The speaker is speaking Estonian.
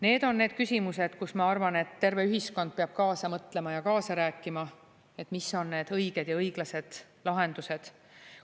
Need on need küsimused, kus ma arvan, et terve ühiskond peab kaasa mõtlema ja kaasa rääkima, et mis on need õiged ja õiglased lahendused.